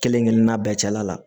Kelen kelen na bɛɛ cɛla la